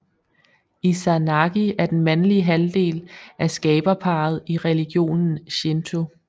Izanagi er den mandlige halvdel af skaberparret i religionen Shinto